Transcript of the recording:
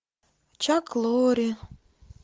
чак лорри